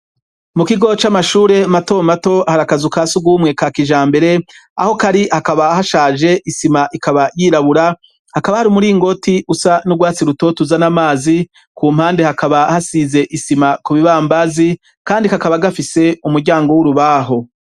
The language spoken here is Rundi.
Mu kigo c'amashure mato mat hari akazi ukasi gumwe ka kijambere aho kari hakaba hashaje isima ikaba yirabura hakaba hari umuri ingoti usa n'urwatsi rutoto uzana amazi ku mpande hakaba hasize isima ku bibambazi kandi kakaba gafise umuryango w'urubaho.